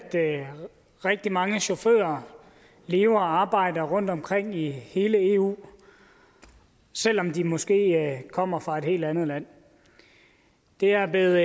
rigtig mange chauffører lever og arbejder rundtomkring i hele eu selv om de måske kommer fra et helt andet land det er blevet